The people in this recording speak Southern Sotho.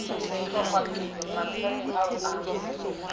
dihlongwapele mantsweng ao o a